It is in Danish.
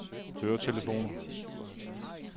høretelefoner